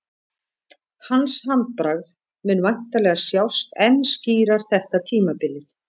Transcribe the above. Hans handbragð mun væntanlega sjást enn skýrar þetta tímabilið.